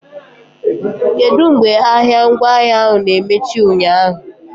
Kedu mgbe ahịa ngwaahịa na-emechi ụnyaahụ?